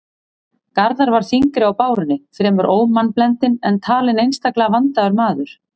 Garðar var þyngri á bárunni, fremur ómannblendinn, en talinn einstaklega vandaður maður.